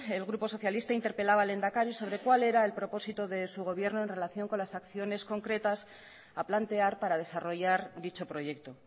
el grupo socialista interpelaba al lehendakari sobre cuál era el propósito de su gobierno en relación con las acciones concretas a plantear para desarrollar dicho proyecto